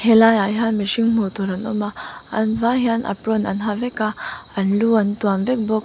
he lai ah hian mihring hmuh tur an awm a an vai hian apron an ha vek a an lu an tuam vek bawk.